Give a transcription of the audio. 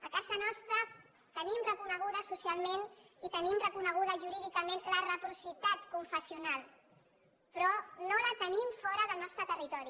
a casa nostra tenim reconeguda socialment i tenim reconeguda jurídicament la reciprocitat confessional però no la tenim fora del nostre territori